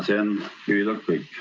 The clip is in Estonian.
See on lühidalt kõik.